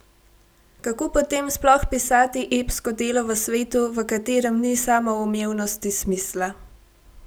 Kako potem sploh pisati epsko delo v svetu, v katerem ni samoumevnosti smisla?